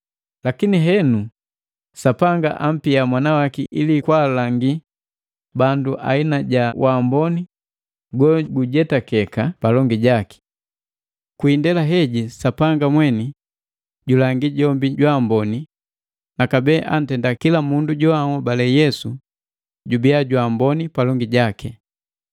Lakini henu Sapanga ampia mwana waki ili kwaalangi bandu aina ja wamboni gogujetakeka palongi jaki. Kwi indela heji Sapanga mweni julangi jombi jwaamboni na kabee antenda kila mundu joanhobale Yesu jubia jwaamboni palongi jaki.